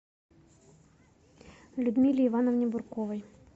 людмиле ивановне бурковой